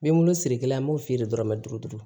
N bɛ n bolo siri kelen an b'o feere dɔrɔnmɛ duuru